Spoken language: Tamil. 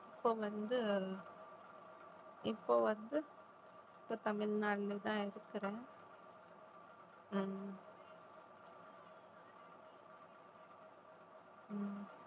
இப்போ வந்து இப்போ வந்து இப்ப தமிழ்நாட்டுலதான் இருக்கிறோம் உம் உம்